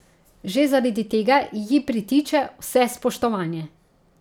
Že zaradi tega ji pritiče vse spoštovanje.